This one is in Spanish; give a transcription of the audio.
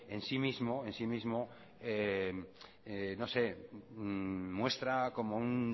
en sí mismo muestra como un